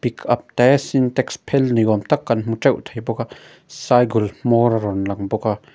pickup te sintex phel ni awm tak kan hmu teuh thei bawk a cycle hmawr a rawn lang bawk a.